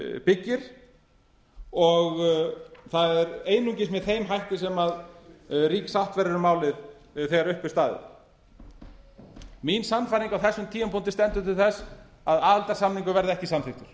byggir og það er einungis með þeim hætti sem rík sátt verður um málið þegar upp er staðið mín sannfæring á þessum tímapunkti stendur til þess að aðildarsamningur verði ekki samþykkur